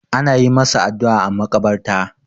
ana yi masa addu'a a makabarta